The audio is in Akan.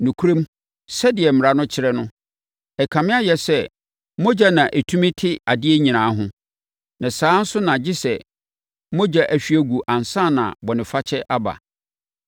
Nokorɛm, sɛdeɛ Mmara no kyerɛ no, ɛkame ayɛ sɛ mogya na ɛtumi te adeɛ nyinaa ho, na saa ara nso na gye sɛ mogya ahwie agu ansa na bɔnefakyɛ aba.